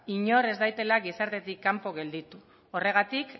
inor ez daitela gizartetik kanpo gelditu horregatik